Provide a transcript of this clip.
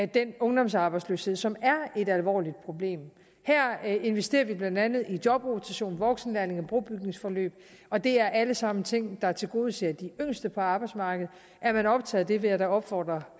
den ungdomsarbejdsløshed som er et alvorligt problem her investerer vi blandt andet i jobrotation voksenlærlinge og brobygningsforløb og det er alle sammen ting der tilgodeser de yngste på arbejdsmarkedet er man optaget af det vil jeg da opfordre